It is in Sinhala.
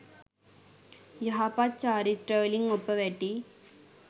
යහපත් චාරිත්‍රවලින් ඔප වැටී